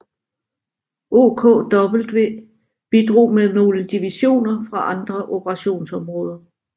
OKW bidrog med nogle divisioner fra andre operationsområder